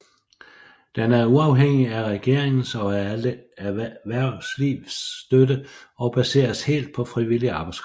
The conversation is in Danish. Den er uafhængig af regeringers og erhvervslivs støtte og baseres helt på frivillig arbejdskraft